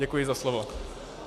Děkuji za slovo.